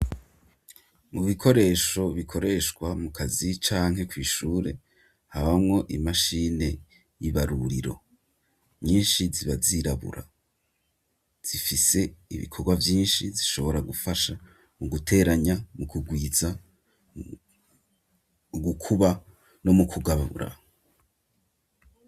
Mu bikoresho bikoreshwa mu kazi canke kw'ishure habamwo imashine y'ibaruriro nyinshi zibazirabura zifise ibikorwa vyinshi zishobora gufasha mu guteranya mu kugwiza u gukuba no mukwa wababura.